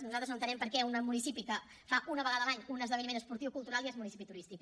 nosaltres no entenem per què un municipi que fa una vegada l’any un esdeveniment esportiu o cultural ja és municipi turístic